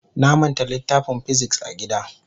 Na manta littafin "physics" a gida.